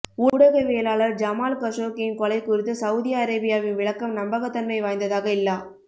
ஊடகவியலாளர் ஜமால் கஷோக்கியின் கொலை குறித்து சவுதி அரேபியாவின் விளக்கம் நம்பகத்தன்மை வாய்ந்ததாக இல்லா